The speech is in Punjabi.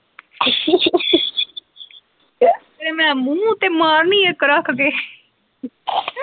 ਤੇਰੇ ਮੈਂ ਮੂੰਹ ਤੇ ਮਾਰਨੀ ਇੱਕ ਰੱਖ ਕੇ .